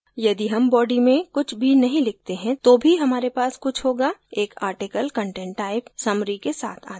यदि हम body में कुछ भी नहीं लिखते हैं तो भी हमारे पास कुछ होगा एक article content type summary के साथ आता है